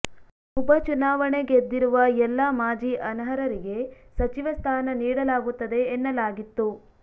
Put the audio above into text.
ಉಪಚುನಾವಣೆ ಗೆದ್ದಿರುವ ಎಲ್ಲಾ ಮಾಜಿ ಅನರ್ಹರಿಗೆ ಸಚಿವ ಸ್ಥಾನ ನೀಡಲಾಗತ್ತದೆ ಎನ್ನಲಾಗಿತ್ತು